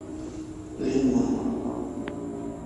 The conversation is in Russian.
лимон